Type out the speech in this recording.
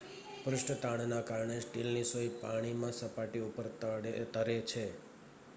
પૃષ્ઠતાણના કારણે સ્ટીલની સોય પાણીમાં સપાટી ઉપર તરે છે